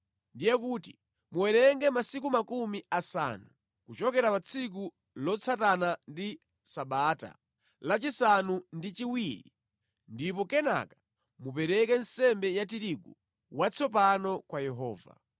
Ndiye kuti muwerenge masiku makumi asanu kuchokera pa tsiku lotsatana ndi Sabata la chisanu ndi chiwiri, ndipo kenaka mupereke nsembe ya tirigu watsopano kwa Yehova.